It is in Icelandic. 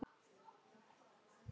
Ég hlakka því mjög til.